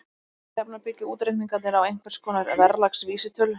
Alla jafna byggja útreikningarnir á einhvers konar verðlagsvísitölu.